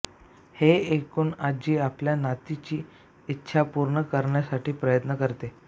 हे ऐकूण आजी आपल्या नातीची इच्छा पूर्ण करण्यासाठी प्रयत्न करते